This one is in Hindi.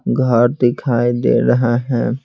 घर दिखाई दे रहा है।